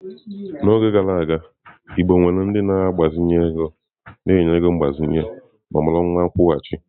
N'oge gara aga igbo nwere ndị na-agbazinye ego anụ ahụ na-enye ego mgbazinye na ọmụrụ nwa akwụghachi.